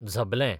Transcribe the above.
झबलें